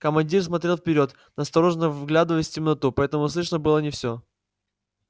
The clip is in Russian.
командир смотрел вперёд настороженно вглядываясь в темноту поэтому слышно было не все